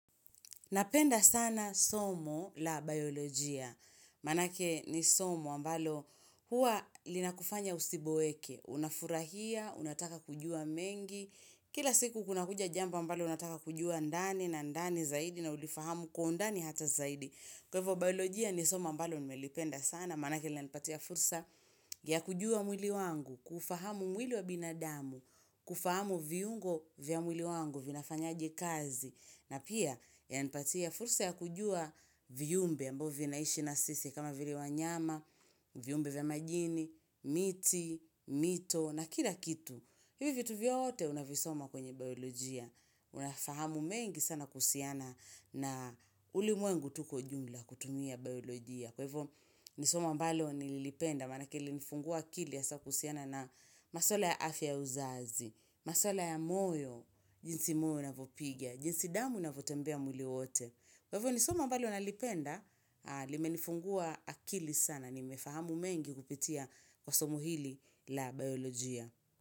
Napenda sana somo la biolojia, manake ni somo ambalo huwa linakufanya usiboeke, unafurahia, unataka kujua mengi, kila siku kuna kuja jambo ambalo unataka kujua ndani na ndani zaidi na ulifahamu kwa ndani hata zaidi. Kwa hivo biolojia ni somo ambalo ni melipenda sana, manakeli na nipatia fursa ya kujua mwili wangu, kuufahamu mwili wa binadamu, kufahamu vyungo vya mwili wangu, vinafanyaje kazi, na pia ya nipatia fursa ya kujua viumbe ambvyo vinaishi na sisi kama vile wa nyama, viyumbe vya majini, miti, mito, na kila kitu. Hivyo vitu vyote unavisoma kwenye biolojia. Unafahamu mengi sana kuhusiana na uli mwengu tuko jumla kutumia biolojia. Kwahivo nisomo ambalo nililipenda manakelili nifungua akili ha sa kuhusiana na masola ya afya uzazi, maswala ya moyo, jinsi moyo unavyopiga, jinsi damu ina vyotembea mwili wote. Kwa hivo nisomo ambalo nalipenda, limenifungua akili sana, nimefahamu mengi kupitia kwa somohili la biolojia.